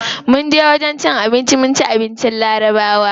Munje wajen cin abinci mun ci abincin larabawa.